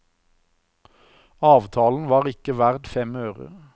Avtalen var ikke verdt fem øre.